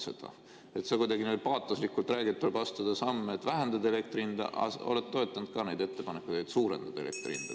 Sa kuidagi paatoslikult räägid, et tuleb astuda samme, et vähendada elektri hinda, aga oled toetanud ka neid ettepanekuid, et suurendada elektri hinda.